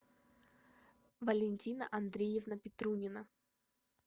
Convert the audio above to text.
валентина андреевна петрунина